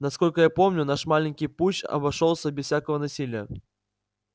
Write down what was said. насколько я помню наш маленький путч обошёлся без всякого насилия